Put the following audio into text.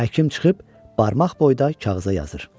Həkim çıxıb barmaq boyda kağıza yazır.